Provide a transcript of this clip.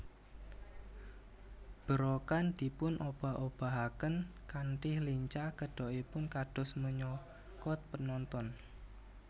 Berokan dipun obah obahaken kanthi lincah kedokipun kados meh nyokot penonton